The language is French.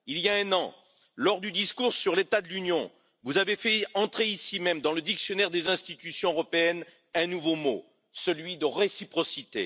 Il y a un an, lors du discours sur l'état de l'Union, vous avez fait entrer, ici même, dans le dictionnaire des Institutions européennes, un nouveau mot, celui de réciprocité.